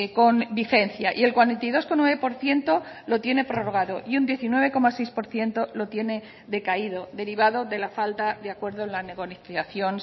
con vigencia y el cuarenta y dos coma nueve por ciento lo tiene prorrogado y un diecinueve coma seis por ciento lo tiene decaído derivado de la falta de acuerdo en la negociación